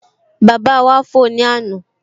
Bàbá wá fò ní àná